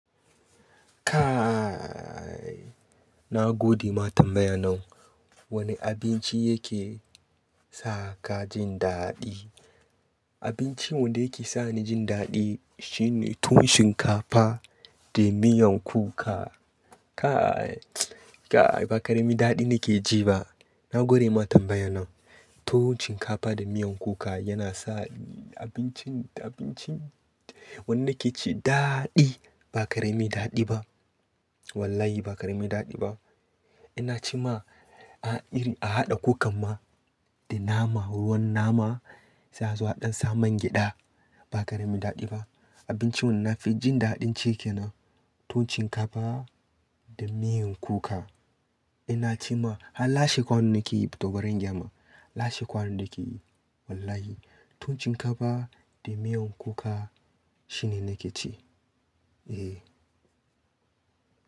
Kai na gode ma tambaya nan. Wane abinci yake sa ka jin daɗi? Abincin wanda yake sa ni jin daɗi shine tuwon shinkafa da miyan kuka. Kai, kai ba karemi daɗi nake ji ba. Na gode ma tambaya nan. Tuwon shinkafa da miyan kuka yana sa abincin, abincin wanda nake ci daɗi. Ba karemi daɗi ba. Wallahi ba karemi daɗi ba. Ina ce ma a iri a haɗa kukan ma da nama, ruwan nama, sai azo aɗan sa man gyaɗa. Ba karemi daɗi ba. Abincin wanda na fi jin daɗin cike na tuwon shinkafa da miyan kuka. Ina ce ma har lashe kwanan nake yi to barin gyama. Lashe kwanan nake yi. Wallahi tuwon shinkafa da miyan kuka shine nake ci. Eh.